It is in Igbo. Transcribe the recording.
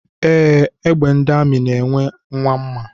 Ee, egbe ndị amị na-enwe nwa mma.